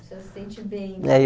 Você se sente bem. É eu